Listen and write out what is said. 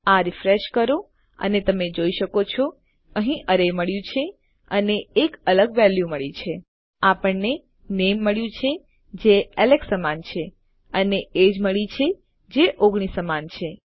આ રીફ્રેશ કરો અને તમે જોઈ શકો છો અહીં અરે મળ્યું છે અને એક અલગ વેલ્યુ મળી છે આપણને નામે મળ્યું છે જે એલેક્સ સમાન છે અને એજીઇ મળ્યી છે જે 19 સમાન છે